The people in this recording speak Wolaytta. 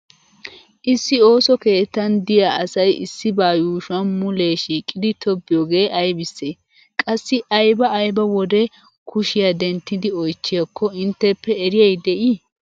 Issi ooso keettan diua asay issibaa yuushuwan mulee shiiqidi tobbiyogee aybisse? Qassi ayba ayba wode kushiya dentti oychchiyakko intteppe eriyay de'ii?